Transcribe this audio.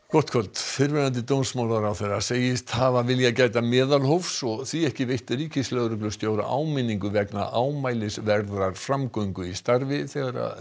gott kvöld fyrrverandi dómsmálaráðherra segist hafa viljað gæta meðalhófs og því ekki veitt ríkislögreglustjóra áminningu vegna ámælisverðrar framgöngu í starfi þegar